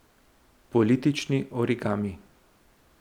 Politični origami.